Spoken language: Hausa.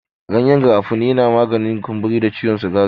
Gyanyen garafuni yana maganin kumburi da ciwon sikari.